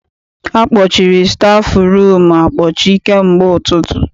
Akpọchiri stafụrum akpọchi kamgbe ụtụtụ.